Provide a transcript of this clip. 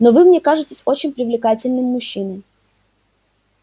но вы мне кажетесь очень привлекательным мужчиной